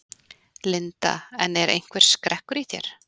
Linda: En er einhver skrekkur í þér?